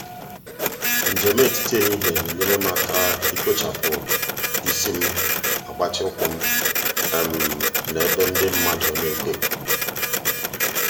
m na-agbalị iji ụgbọ njem ọha na-akwụsị n'ebe dị anya ij mee ka um m gakwuo ije tupu um ịbanye.